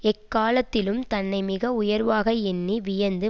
எக்காலத்திலும் தன்னை மிக உயர்வாக எண்ணி வியந்து